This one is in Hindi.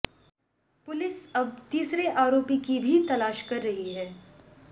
पुलिस अब तीसरे आरोपी की भी तलाश कर रही है